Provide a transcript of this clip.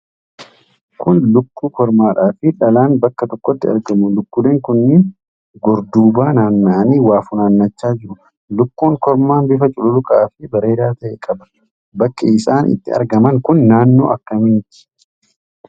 Kun lukkuu kormaadha fi dhalaan bakka tokkotti argamu. Lukkuuleen kunniin gorduuba naanna'anii waa funaannachaa jiru. Lukkuun kormaan bifa cululuqaa fi bareedaa ta'e qaba. Bakki isaan itti argaman kun naannoo akkamiiti?